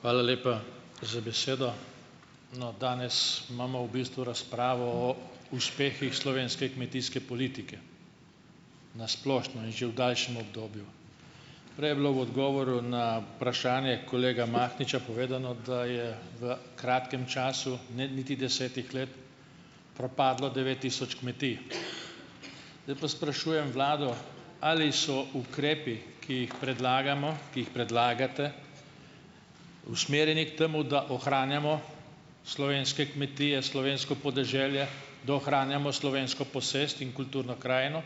Hvala lepa, za besedo! No, danes imamo v bistvu razpravo o uspehih slovenske kmetijske politike, na splošno in že v daljšem obdobju. Prej je bilo v odgovoru na vprašanje kolega Mahniča povedano, da je v kratkem času, ne niti desetih let, propadlo devet tisoč kmetij. Zdaj pa sprašujem vlado, ali so ukrepi, ki jih predlagamo, ki jih predlagate, usmerjeni k temu, da ohranjamo slovenske kmetije, slovensko podeželje, da ohranjamo slovensko posest in kulturno krajino,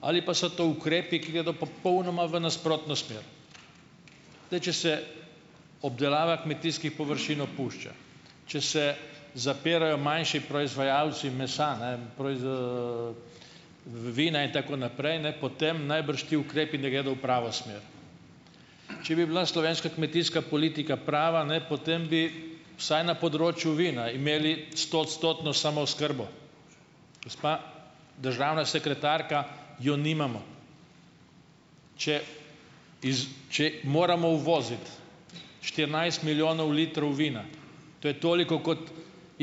ali pa so to ukrepi, ki gredo popolnoma v nasprotno smer. Zdaj, če se obdelava kmetijskih površin opušča, če se zapirajo manjši proizvajalci mesa, ne vina in tako naprej, ne, potem najbrž ti ukrepi ne gredo v pravo smer. Če bi bila slovenska kmetijska politika prava, ne, potem bi vsaj na področju vina imeli stoodstotno samooskrbo - gospa državna sekretarka, jo nimamo! Če če moramo uvoziti štirinajst milijonov litrov vina, to je toliko, kot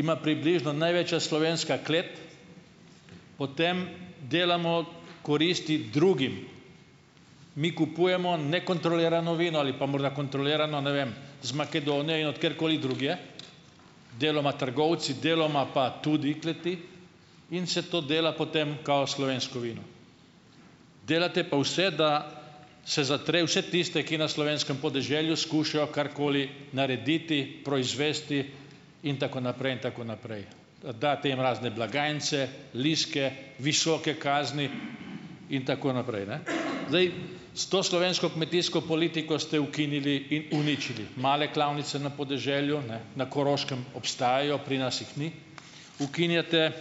ima približno največja slovenska klet, potem delamo koristi drugim. Mi kupujemo nekontrolirano vino ali pa morda kontrolirano, ne vem, iz Makedonije, od kjerkoli drugje, deloma trgovci, deloma pa tudi kleti, in se to dela potem kao slovensko vino. Delate pa vse, da se zatre vse tiste, ki na slovenskem podeželju skušajo karkoli narediti, proizvesti in tako naprej in tako naprej. Date jim razne blagajnice, listke, visoke kazni in tako naprej, ne. Zdaj. S to slovensko kmetijsko politiko ste ukinili in uničili male klavnice na podeželju, ne, na Koroškem obstajajo, pri nas jih ni. Ukinjate,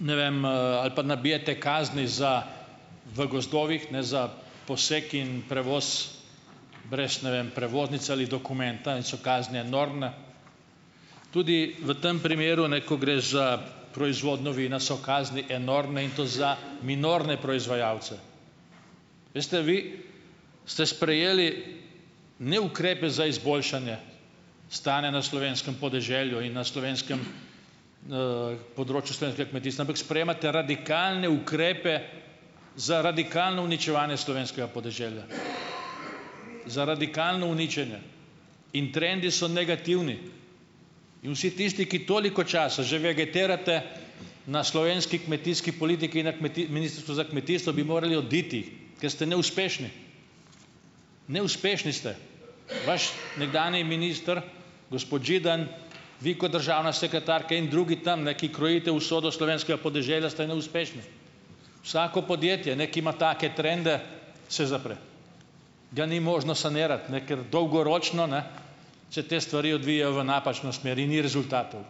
ne vem, ali pa nabijate kazni za v gozdovih, ne, za posek in prevoz brez, ne vem, prevoznice ali dokumenta in so kazni enormne. Tudi v tem primeru, ne, ko gre za proizvodnjo vina, so kazni enormne, in to za minorne proizvajalce. Veste, vi ste sprejeli, ne, ukrepe za izboljšanje stanja na slovenskem podeželju in na slovenskem, področju slovenskega kmetijstva, ampak sprejemate radikalne ukrepe za radikalno uničevanje slovenskega podeželja, za radikalno uničenje. In trendi so negativni. In vsi tisti, ki toliko časa že vegetirate na slovenski politiki, na kmetijski Ministrstvu za kmetijstvo, bi morali oditi, ker ste neuspešni. Neuspešni ste! Vaš nekdanji minister, gospod Židan, vi kot državna sekretarka in drugi tam, ne, ki krojite usodo slovenskega podeželja, ste neuspešni. Vsako podjetje, ne, ki ima take trende, se zapre, ga ni možno sanirati, ne, ker dolgoročno, ne, se te stvari odvijajo v napačno smer in ni rezultatov.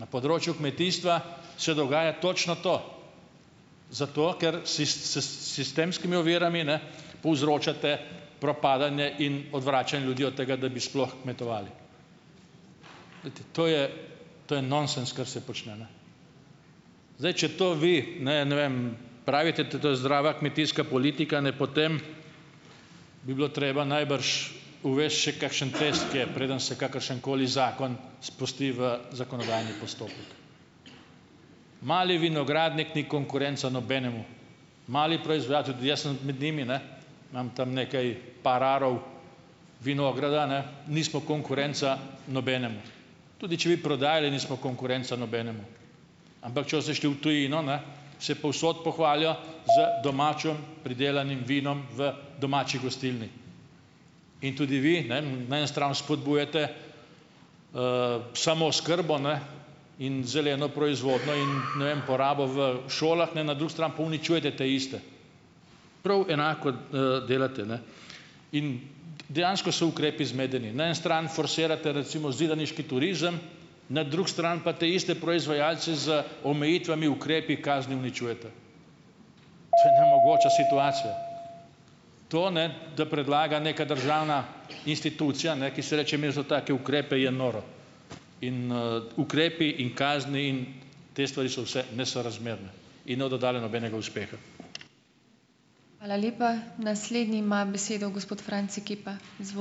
Na področju kmetijstva se dogaja točno to, zato ker si s s sistemskimi ovirami, ne, povzročate propadanje in odvračanje ljudi od tega, da bi sploh kmetovali. Glejte, to je, to je nonsens, kar se počne, ne. Zdaj, če to vi, ne, ne vem, pravite, da to je zdrava kmetijska politika, ne, potem bi bilo treba najbrž uvesti še kakšen test, ke preden se kakršenkoli zakon spusti v zakonodajni postopek. Mali vinogradnik ni konkurenca nobenemu. Mali proizvajalci - tudi jaz sem med njimi, ne, imam tam nekaj, par arov vinograda, ne, - nismo konkurenca nobenemu. Tudi če bi prodajali, nismo konkurenca nobenemu. Ampak če boste šli v tujino, ne, se povsod pohvalijo z domačim pridelanim vinom v domači gostilni. In tudi vi ne, na eni strani spodbujate samooskrbo, ne, in zeleno proizvodnjo in, ne vem, porabo v šolah, ne na drugi strani pa uničujete teiste, prav enako, delate, ne. In dejansko so ukrepi zmedeni, na eni strani forsirate, recimo, zidaniški turizem, na drugi strani pa te iste proizvajalce z omejitvami, ukrepi, kaznimi uničujete. To je nemogoča situacija. To ne da predlaga neka državna institucija, ne, ki se reče me za take ukrepe, je noro. In, ukrepi in kazni in te stvari so vse nesorazmerne in ne bodo dodale nobenega uspeha.